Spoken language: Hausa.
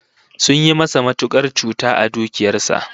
Sun yi masa matukar cuta a dukiyar sa